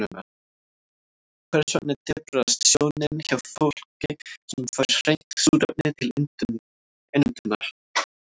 Hvers vegna daprast sjónin hjá fólki sem fær hreint súrefni til innöndunar?